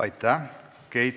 Aitäh!